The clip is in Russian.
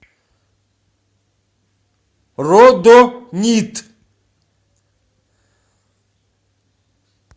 родонит